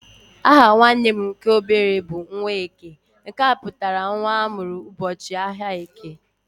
Aha nwanne m nke obere bụ "Nwaeke" nke pụtara nwa amụrụ ụbọchị áhiá eke.